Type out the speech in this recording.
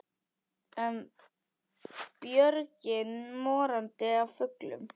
Björgin morandi af fuglum.